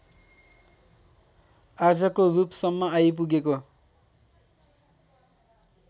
आजको रूपसम्म आइपुगेको